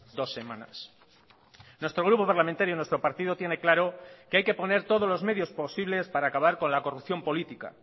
dos semanas nuestro grupo parlamentario nuestro partido tiene claro que hay que poner todos los medios posibles para acabar con la corrupción política